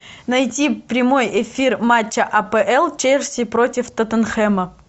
найти прямой эфир матча апл челси против тоттенхэма